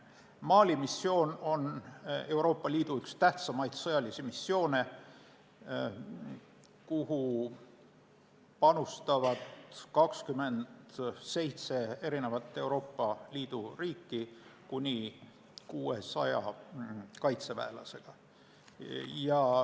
Mali missioon on Euroopa Liidu üks tähtsamaid sõjalisi missioone, kuhu panustavad Euroopa Liidu 27 riiki kuni 600 kaitseväelasega.